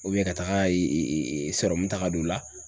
ka taga ta k'a don u la